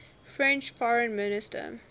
french foreign minister